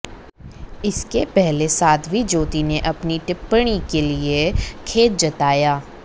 इसके पहले साध्वी ज्योति ने अपनी टिप्पणी के लिए खेद जताया